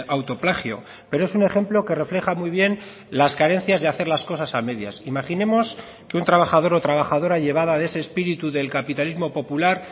auto plagio pero es un ejemplo que refleja muy bien las carencias de hacer las cosas a medias imaginemos que un trabajador o trabajadora llevada de ese espíritu del capitalismo popular